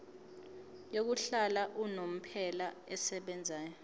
yokuhlala unomphela esebenzayo